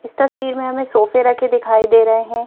इस तस्वीर में हमें सोफे रखे दिखाई दे रहे हैं।